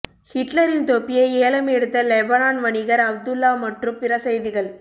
ஹிட்லரின் தொப்பியை ஏலம் எடுத்த லெபனான் வணிகர் அப்துல்லா மற்றும் பிற செய்திகள்